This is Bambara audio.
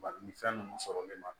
Bari ni fɛn nunnu sɔrɔli ma